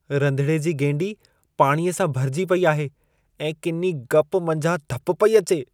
रधिणे जी गेंडी पाणीअ सां भरिजी पेई आहे ऐं किनी गप मंझां धप पेई अचे।